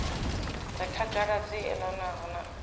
re khagala dzi elanaho na